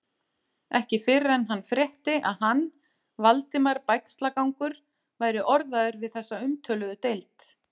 Ekki fyrr en hann frétti, að hann, Valdimar Bægslagangur, væri orðaður við þessa umtöluðu deild.